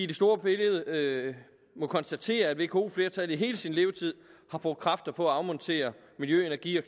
det store billede må konstatere at vko flertallet i hele sin levetid har brugt kræfter på at afmontere miljø energi og